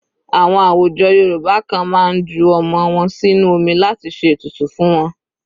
Àwọn àwùjọ Yorùbá kan máa ń ju ọmọ wọn sínú omi láti ṣe ètùtù fún wọn.